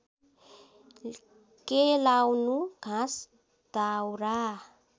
केलाउनु घाँस दाउरा